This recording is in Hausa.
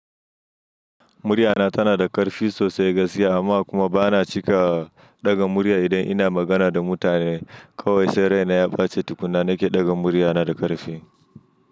Muryana tana da ƙarfi sosai gaskiya amma kuma bana cika ɗaga murya idan ina magana da mutane. Kawai sai raina ya baci tukuna nake ɗaga muryana da ƙarfi.